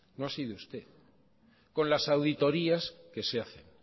no ha sido usted con las auditorías que se hacen